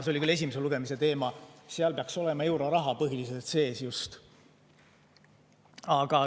See oli küll esimese lugemise teema, aga seal peaks olema euroraha põhiliselt sees.